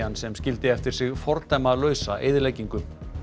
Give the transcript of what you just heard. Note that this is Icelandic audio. sem skildi eftir sig fordæmalausa eyðileggingu